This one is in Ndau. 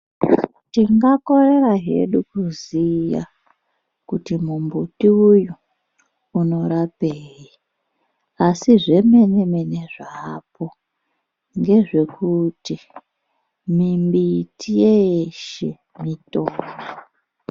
Tingakorera hedu kuziya kuti mumbuti uyu unorapei, asi zvemene-mene zvaapo ngezvekuti mimbiti yeeshe, mitombo.